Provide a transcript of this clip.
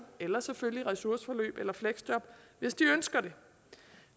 eller selvfølgelig ressourceforløb eller fleksjob hvis de ønsker det